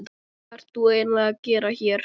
Hvað ert þú eiginlega að gera hér?